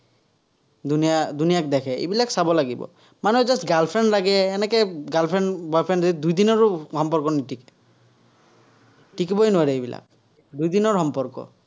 দুনিয়া দুনিয়াক দেখে। এইবিলাক চাব লাগিব। মানে just girl friend লাগে, এনেকে gril friend boy friend দুদিনৰো সম্পৰ্ক নিতিকে। তিকিবই নোৱাৰে এইবিলাক, দুদিনৰ সম্পৰ্ক।